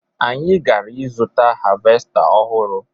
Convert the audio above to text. Anyị gara ịzụta havesta ọhụrụ